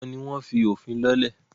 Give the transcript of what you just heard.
àwọn ni wọ́n fí “òfin” lọ́lẹ̀.